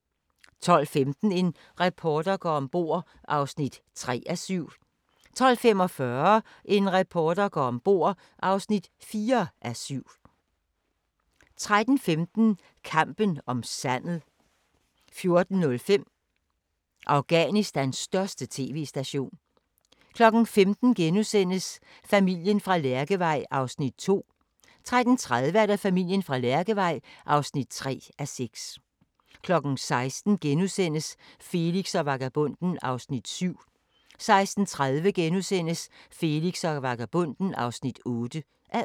05:20: Dagens sang: Se, nu stiger solen * 05:40: Solens mad (4:6)* 06:10: Solens mad (5:6) 06:40: Taxa (46:56)* 07:20: Taxa (47:56) 08:25: Dagens sang 09:35: Smag på Danmark – med Meyer (10:13)* 10:05: Smag på Danmark – med Meyer (11:13) 10:35: Kongehuset (5:10)* 11:05: Kongehuset (6:10)